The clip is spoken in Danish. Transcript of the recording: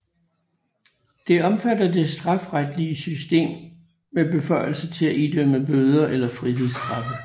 Det omfatter det strafferetlige system med beføjelser til at idømme bøder eller frihedsstraffe